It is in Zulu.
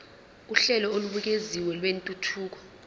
uhlelo olubukeziwe lwentuthuko